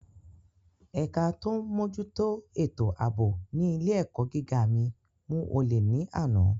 Ẹ̀ka tó ń mójútó ètò ààbò ní ilé - èkọ́ gíga mi mú olè ní àná